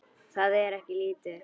Það er ekkert lítið!